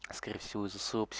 скорее всего